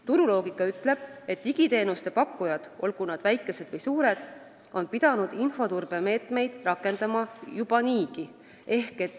Turuloogika ütleb, et digiteenuste pakkujad, olgu nad väikesed või suured, on pidanud infoturbe meetmeid rakendama juba niigi.